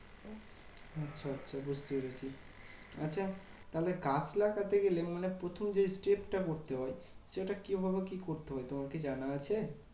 আচ্ছা আচ্ছা বুঝতে পেরেছি। আচ্ছা তাহলে গাছ লাগাতে গেলে মানে প্রথম যে step টা করতে হয়, সেটা কিভাবে কি করতে হয়? তোমার কি জানা আছে?